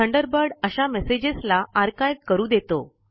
Thunderbird अशा messages ला archive करू देतो